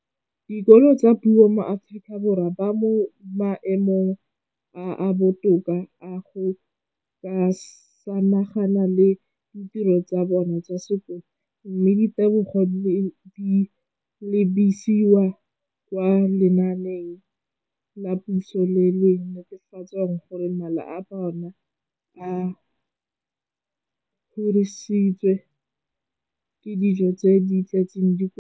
Dikolo tsa puso mo Aforika Borwa ba mo maemong a a botoka a go ka samagana le ditiro tsa bona tsa sekolo, mme ditebogo di lebisiwa kwa lenaaneng la puso le le netefatsang gore mala a bona a kgorisitswe ka dijo tse di tletseng dikotla.